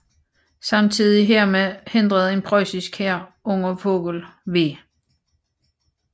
Samtidig hermed hindrede en preussisk hær under Vogel v